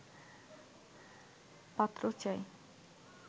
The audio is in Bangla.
পাত্র চাই